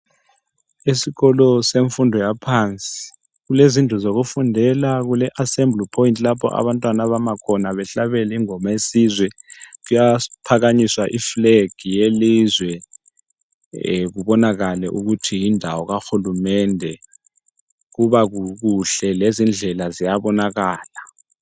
Esikolo semfundo yaphansi kulezindlu zokufundela, kule assembly point lapho abantwana abama khona kuhlatshelwe ingoma yesizwe kuphakanyiswe iflag yelizwe kubonakale ukuthi yindawo kahulumende. Kubakuhle lezindlela ziyabonakala.